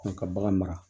An ka bagan mara